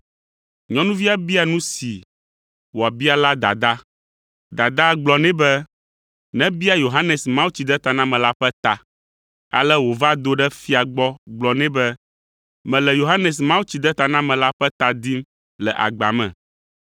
Nyɔnuvia bia nu si wòabia la dadaa. Dadaa gblɔ nɛ be nebia Yohanes Mawutsidetanamela ƒe ta. Ale wòva do ɖe fia gbɔ gblɔ nɛ be, “Mele Yohanes Mawutsidetanamela ƒe ta dim le agba me.”